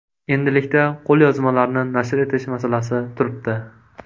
Endilikda qo‘lyozmalarni nashr etish masalasi turibdi.